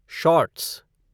shorts